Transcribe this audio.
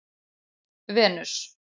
Venus